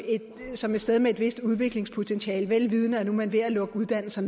som et sted med et vist udviklingspotentiale vel vidende at man ved at lukke uddannelser